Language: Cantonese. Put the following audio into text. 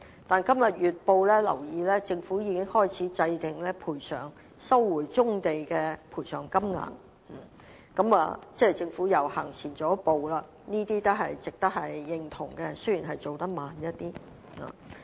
我今天看報章時，留意到政府已開始制訂收回棕地的賠償金額，即政府已經走前了一步，這也是值得認同的，雖然進度慢了一點。